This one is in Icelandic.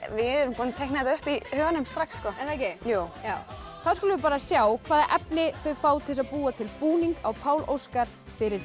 við erum búin að teikna þetta upp í huganum strax er það ekki jú þá skulum við sjá hvaða efni þau fá til þess að búa til búning á Pál Óskar fyrir